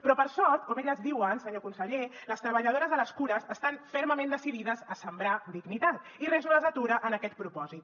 però per sort com elles diuen senyor conseller les treballadores de les cures estan fermament decidides a sembrar dignitat i res no les atura en aquest propòsit